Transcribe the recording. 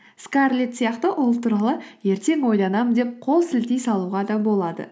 скарлетт сияқты ол туралы ертең ойланамын деп қол сілтей салуға да болады